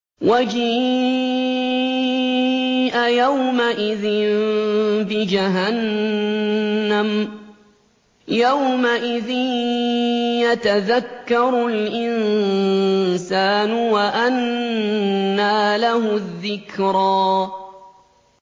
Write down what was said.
وَجِيءَ يَوْمَئِذٍ بِجَهَنَّمَ ۚ يَوْمَئِذٍ يَتَذَكَّرُ الْإِنسَانُ وَأَنَّىٰ لَهُ الذِّكْرَىٰ